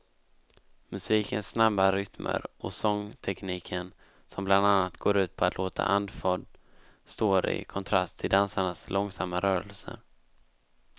Musikens snabba rytmer och sångtekniken som bland annat går ut på att låta andfådd står i kontrast till dansarnas långsamma rörelser.